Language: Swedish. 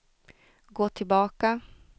gå tillbaka